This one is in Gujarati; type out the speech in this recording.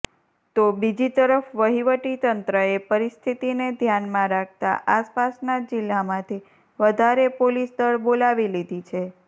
તો બીજી તરફ વહિવટી તંત્રએ પરિસ્થિતીને ધ્યાનમાં રાખતાં આસપાસના જિલ્લામાંથી વધારે પોલીસદળ બોલાવી લીધી છે